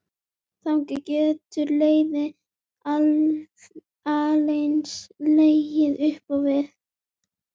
Þaðan getur leiðin aðeins legið upp á við.